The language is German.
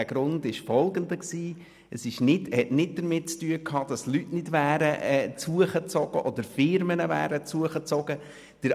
Das hat nichts damit zu tun, dass keine Leute oder keine Firmen hergezogen sind.